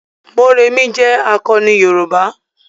Mọ́remí jé akọni yoruba.